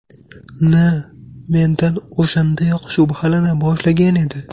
N. mendan o‘shandayoq shubhalana boshlagan edi.